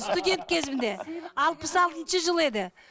студент кезімде алпыс алтыншы жыл еді